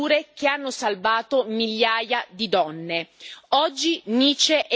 Nuove pratiche più sicure che hanno salvato migliaia di donne.